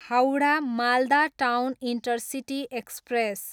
Howrah, Malda town intercity express